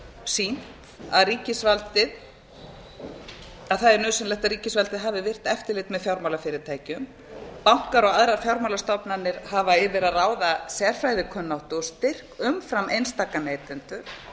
sýnt að það er nauðsynlegt að ríkisvaldið hafi virkt eftirlit með fjármálafyrirtækjum bankar og aðrar fjármálastofnanir hafa yfir að ráða sérfræðikunnáttu og styrk umfram einstaka neytendur